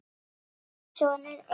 Þinn sonur, Eiður.